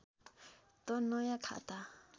त नयाँ खाता